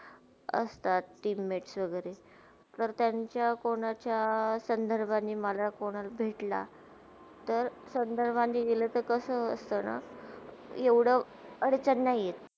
असतातील lakeshore मधे तर त्यांचा कोणाच्या संधरभाणी मला कोणल भेटला. तर संधरभाणी मिला तर कसा वाटताना येवडा अडचण नय येत.